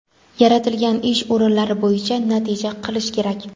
yaratilgan ish o‘rinlari bo‘yicha natija qilishi kerak.